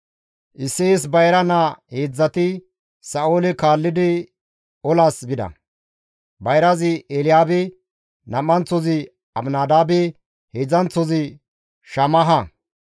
Isseyes bayra naa heedzdzati Sa7oole kaallidi olaas bida; bayrazi Elyaabe, nam7anththozi Abinadaabe, heedzdzanththozi Shammaha.